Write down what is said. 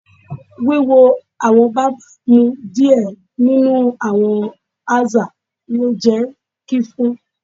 Wiwo awọn barbers mu diẹ ninu awọn aza le jẹ ki fun